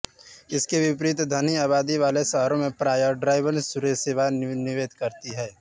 इसके विपरीत घनी आबादी वाले शहरों में प्रायः ड्राइवथ्रू सेवा निषेध रहती है